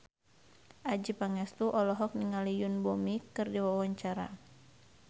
Adjie Pangestu olohok ningali Yoon Bomi keur diwawancara